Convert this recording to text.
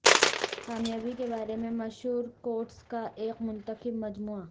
کامیابی کے بارے میں مشہور کوٹس کا ایک منتخب مجموعہ